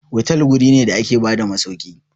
hotel wuri ne da ke bada masauki.